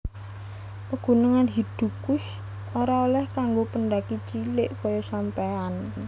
Pegunungan Hidukush ora oleh kanggo pendaki cilik koyo sampeyan